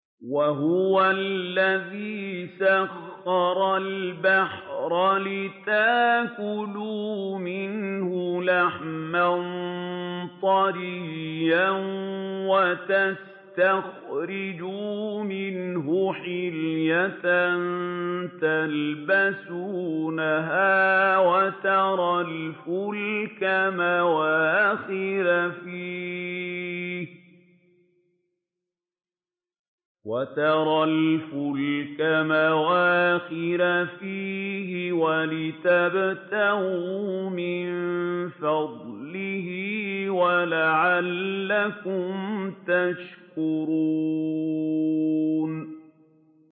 وَهُوَ الَّذِي سَخَّرَ الْبَحْرَ لِتَأْكُلُوا مِنْهُ لَحْمًا طَرِيًّا وَتَسْتَخْرِجُوا مِنْهُ حِلْيَةً تَلْبَسُونَهَا وَتَرَى الْفُلْكَ مَوَاخِرَ فِيهِ وَلِتَبْتَغُوا مِن فَضْلِهِ وَلَعَلَّكُمْ تَشْكُرُونَ